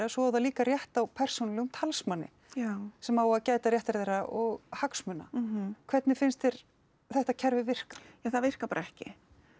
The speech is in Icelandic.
svo á það líka rétt á persónulegum talsmanni sem á að gæta réttinda þeirra og hagsmuna hvernig finnst þér þetta kerfi virka ja það virkar bara ekki